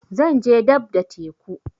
Zan je dab da teku